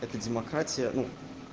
это демократия ну